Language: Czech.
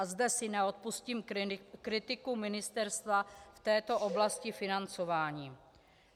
A zde si neodpustím kritiku ministerstva v této oblasti financování.